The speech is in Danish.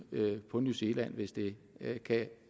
på new zealand hvis det kan